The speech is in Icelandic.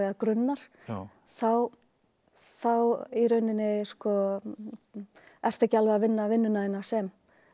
grunnar þá þá þá í rauninni ertu ekki alveg að vinna vinnuna þína sem